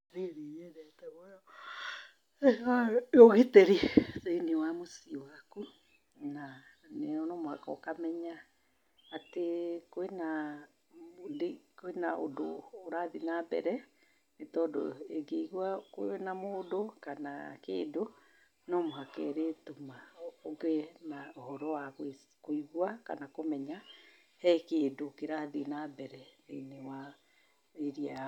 nĩ nyendete mũno wĩra wa ũgitĩri thĩ-inĩ wa mũciĩ waku, na no mũhaka ũkamenya atĩ kwĩna ũndũ ũrathiĩ na mbere, nĩ tondũ ĩngĩigua kwĩna mũndũ kana kĩndũ no mũhaka ĩrĩtũma ũgĩe na ũhoro wa kũigua kana kũmenya he kĩndũ kĩrathiĩ na mbere thĩ-inĩ wa area yaku.